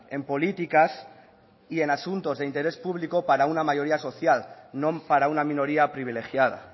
en políticas y en asuntos de interés público para una mayoría social no para una minoría privilegiada